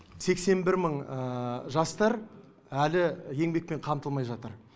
сексен бір мың жастар әлі еңбекпен қамтылмай жатыр